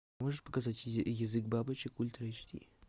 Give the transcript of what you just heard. можешь показать язык бабочек ультра эйч ди